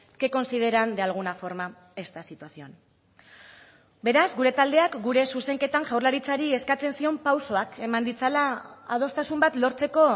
que consideran de alguna forma esta situación beraz gure taldeak gure zuzenketan jaurlaritzari eskatzen zion pausoak eman ditzala adostasun bat lortzeko